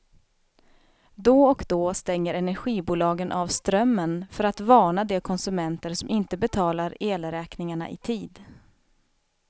Då och då stänger energibolagen av strömmen för att varna de konsumenter som inte betalar elräkningarna i tid.